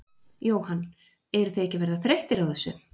Jóhann: Eruð þið ekki að verða þreyttir á þessu?